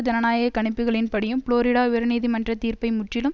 ஜனநாயக கணிப்புகளின்படியும் புளோரிடா உயர்நீதிமன்றத் தீர்ப்பை முற்றிலும்